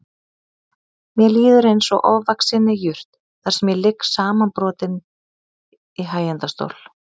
Mér líður eins og ofvaxinni jurt þar sem ég ligg samanbrotinn í hægindastól.